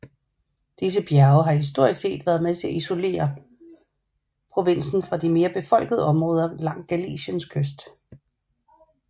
Disse bjerge har historisk set været med til at isolere provinsen fra de mere befolkede områder langs Galiciens kyst